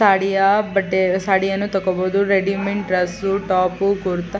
ಸಾಡಿಯಾ ಬಟ್ಟೆ ಸಾಡಿಯನ್ನು ತೋಕೋಬಹುದು ರೆಡಿಮೆಂಟ್ ಡ್ರೆಸ್ಸು ಟೋಫು ಕುರ್ತ್.